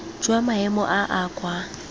jwa maemo a a kwa